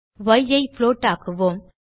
ய் ஐ புளோட் ஆக்குவோம்